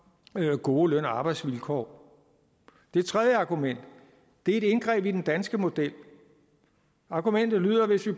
gode løn og arbejdsvilkår det tredje argument det er et indgreb i den danske model argumentet lyder at hvis vi